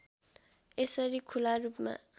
यसरी खुला रूपमा